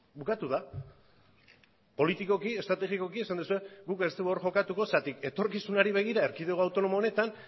bukatu da politikoki eta estrategikoki esan duzue guk ez dugu hor jokatuko zergatik etorkizunari begira erkidego autonomo honetan